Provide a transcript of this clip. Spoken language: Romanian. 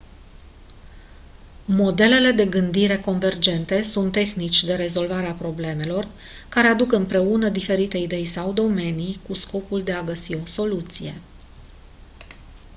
modelele de gândire convergente sunt tehnici de rezolvare a problemelor care aduc împreună diferite idei sau domenii cu scopul de a găsi o soluție